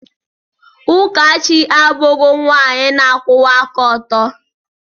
Ụkachi abụghị nwanyị na-akwụwa aka ọtọ.